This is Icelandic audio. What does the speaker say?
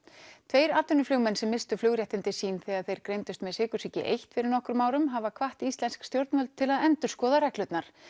tveir atvinnuflugmenn sem misstu flugréttindi sín þegar þeir greindust með sykursýki einn fyrir nokkrum árum hafa hvatt íslensk stjórnvöld til að endurskoða reglurnar